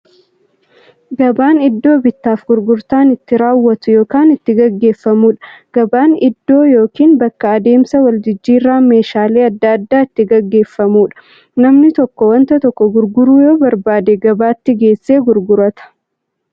Gabaan iddoo bittaaf gurgurtaan itti raawwatu yookiin itti gaggeeffamuudha. Gabaan iddoo yookiin bakka adeemsa waljijjiiraan meeshaalee adda addaa itti gaggeeffamuudha. Namni tokko waan tokko gurguruu yoo barbaade, gabaatti geessee gurgurata.